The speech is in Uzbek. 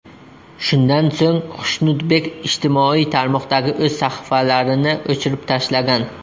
Shundan so‘ng Xushnudbek ijtimoiy tarmoqdagi o‘z sahifalarini o‘chirib tashlagan.